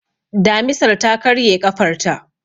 Damisar ta karye ƙafarta.